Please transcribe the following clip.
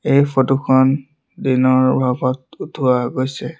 এই ফটোখন দিনৰ ভাগত উঠোৱা গৈছে।